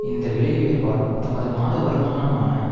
இந்த விலையுயர்வால் தமது மாத வருமானமான